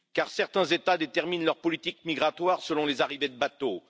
Car certains États déterminent leur politique migratoire selon les arrivées des bateaux.